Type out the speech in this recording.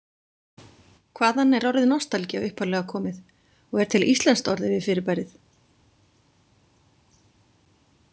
Hvaðan er orðið nostalgía upphaflega komið og er til íslenskt orð yfir fyrirbærið?